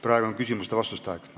Praegu on küsimuste ja vastuste aeg.